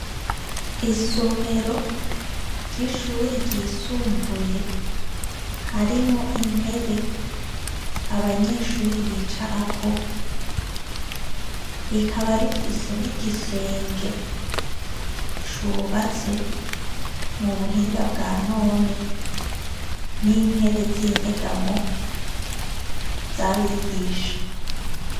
Isomero ry'ishure ryisumbuye. Harimwo intebe abanyeshure bicarako. Rikaba rifise n'igisenge cubatse mu buhinga bwa none, n'intebe z'inyegamo z'abigisha.